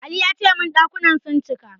Ali ya ce min ɗakunan sun cika.